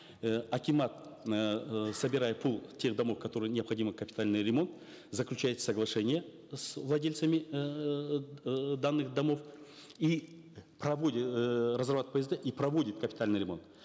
э акимат эээ собирает тех домов которым необходим капитальный ремонт заключается соглашение с владельцами эээ данных домов и эээ разрабатывают псд и проводят капитальный ремонт